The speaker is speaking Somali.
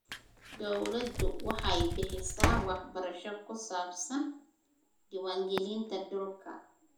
Dawladdu waxay bixisaa waxbarasho ku saabsan diiwaangelinta dhulka.